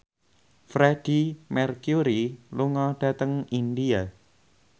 Freedie Mercury lunga dhateng India